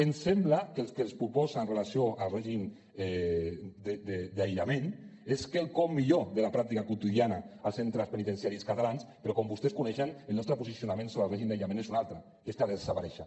ens sembla que el que es proposa en relació amb el règim d’aïllament és quelcom millor de la pràctica quotidiana als centres penitenciaris catalans però com vostès coneixen el nostre posicionament sobre el règim d’aïllament és un altre que és que ha de desaparèixer